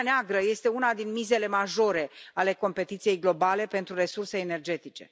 Marea Neagră este una din mizele majore ale competiției globale pentru resurse energetice.